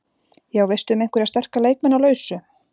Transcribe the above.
Já, veistu um einhverja sterka leikmenn á lausu?